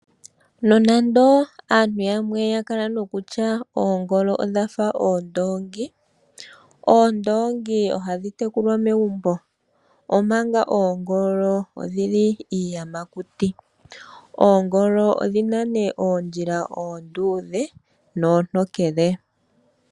Nonando aantu yamwe ya kala nokutya Oongolo odhafa oondoongi ,Oondoongi o hadhi tekulwa megumbo, omanga oongolo odhili iiyamakuti .oongolo odhina oondjila oondudhe noontonkele